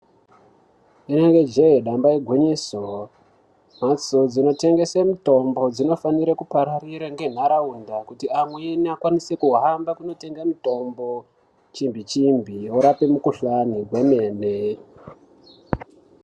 Ibari je damba igwinyiso mbatso dzinotengeswa mitombo inofanira kupararira nendaraunda kuti auye akwanise kuhamba kutenga mitombo chimbi chimbi inorapa mikuhlani kwemene.